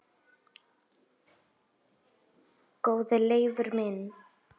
Góði Leifur minn,